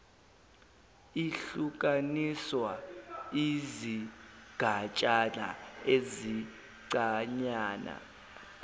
ihlukaniswa izigatshana ezincanyana